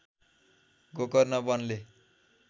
Gokarna वनले